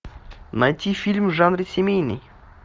найти фильм в жанре семейный